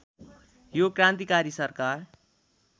यो क्रान्तिकारी सरकार